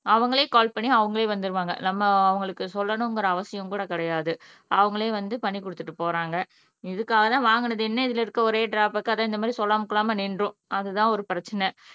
அவங்களே கால் பண்ணி அவர்களே வந்துடுவாங்க நம்ம அவங்களுக்கு சொல்லணுங்கற அவசியம் கூட கிடையாது அவங்களே வந்து பண்ணி கொடுத்துட்டு போறாங்க இதுக்காக தான் வாங்குனது என்ன இதில் இருக்கிற ஒரே ட்ரா பேக் இது மாதிரி சொல்லாம கொள்ளாம நின்னுரும் அதுதான் ஒரு பிரச்சினை